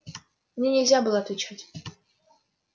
мне нельзя было отвечать